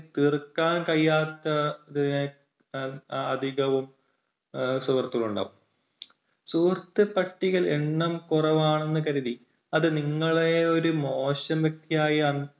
തീർക്കാൻ കഴിയാത്ത അധികവും സുഹൃത്തുക്കൾ ഉണ്ടാവും. സുഹൃത്തുക്കട്ടിയിൽ എണ്ണം കുറവാണെന്ന് കരുതി അത് നിങ്ങളെ ഒരു മോശം വ്യക്തിയായി